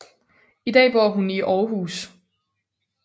I dag bor hun i Aarhus